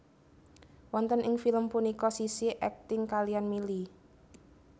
Wonten ing film punika Sissy akting kaliyan Milly